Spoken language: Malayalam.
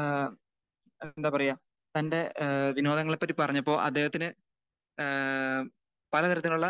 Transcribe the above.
ഏഹ് എന്താ പറയാ തന്റെ ഏഹ് വിനോദങ്ങളെ പറ്റി പറഞ്ഞപ്പോ അദ്ദേഹത്തിന് ഏഹ് പല തരത്തിലുള്ള